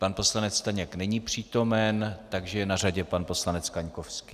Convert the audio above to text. Pan poslanec Staněk není přítomen, takže je na řadě pan poslanec Kaňkovský.